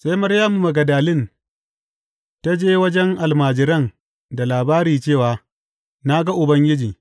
Sai Maryamu Magdalin ta wajen almajiran da labari cewa, Na ga Ubangiji!